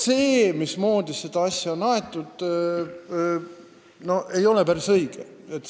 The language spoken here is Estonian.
See, mismoodi on seda asja aetud, ei ole päris õige.